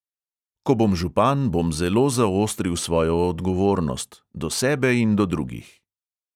Ko bom župan, bom zelo zaostril svojo odgovornost – do sebe in do drugih.